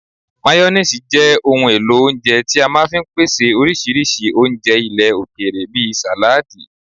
Mayoníìsì jẹ́ ohun èlò oúnjẹ tí a máa fi ń pèsè oríṣiríṣi oúnjẹ ilẹ̀ òkèèrè bí sàládi